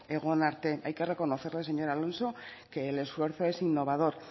egon arte hay que reconocerle señor alonso que el esfuerzo es innovador